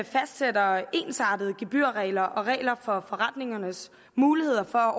fastsætter ensartede gebyrregler og regler for forretningernes muligheder for